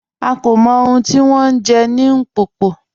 À kò mọ̀ ọ̀hun tí wọn jẹ̀ ni Mpopo